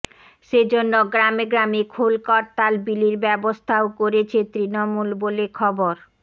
সেজন্য গ্রামে গ্রামে খোল করতাল বিলির ব্যবস্থাও করেছে তৃণমূল বলে খবর